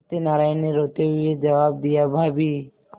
सत्यनाराण ने रोते हुए जवाब दियाभाभी